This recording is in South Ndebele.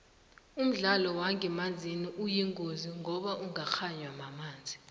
umdlalo wangemanzini uyingozi ngoba ungakganywa mamanzi